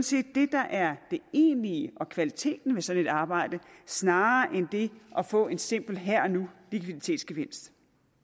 set det der er det egentlige og kvaliteten ved sådan et arbejde snarere end det at få en simpel her og nu likviditetsgevinst